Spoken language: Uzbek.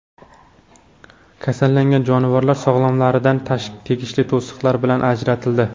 Kasallangan jonivorlar sog‘lomlaridan teshikli to‘siqlar bilan ajratildi.